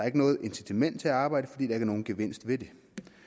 ikke noget incitament til at arbejde fordi der ikke er nogen gevinst ved det